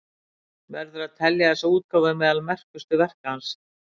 Verður að telja þessa útgáfu meðal merkustu verka hans.